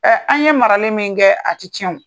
an' ye marali min kɛ, a ti tiɲɛ o.